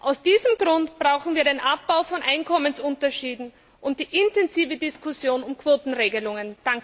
Aus diesem Grund brauchen wir den Abbau von Einkommensunterschieden und die intensive Diskussion über Quotenregelungen.